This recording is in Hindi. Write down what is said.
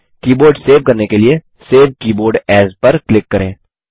कीबोर्ड सेव करने के लिए सेव कीबोर्ड एएस पर क्लिक करें